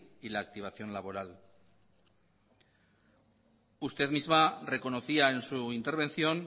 y la activación laboral usted misma reconocía en su intervención